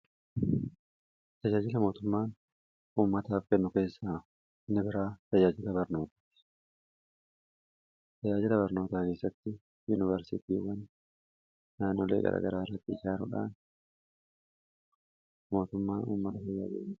Tajaajila mootummaan ummataaf kennu keessa inni biraa tajaajila barnootaa. tajaajila barnootaa keessatti yuunivarsitiiwwan naannolee garagaraa irratti ijaaruudhaan mootummaan ummata fayyada.